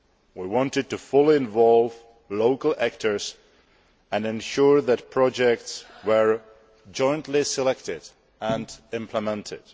We wanted to fully involve local actors and ensure that projects were jointly selected and implemented.